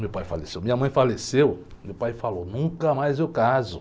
Meu pai faleceu, minha mãe faleceu, meu pai falou, nunca mais eu caso.